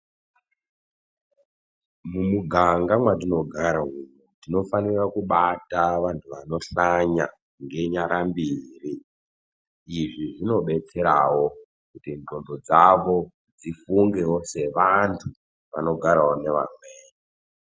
Mumuganga mwatinogara umwu tinofanira kubata vantu vanohlanya ngenyara mbiri izvi zvinobetserawo kuti ndxondo dzavo dzifungevo sevantu vanogarawo nevamweni.